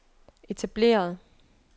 etableret